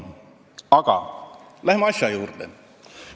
Aga läheme asja juurde.